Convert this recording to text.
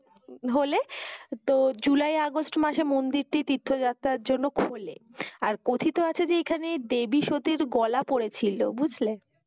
হলে তো July August মাসে মন্দিরটি তীর্থ যাত্রার জন্য খুলে। আর কথিত আছে যে এখানে দেবী সতীর গলা পড়েছিল বুঝলে?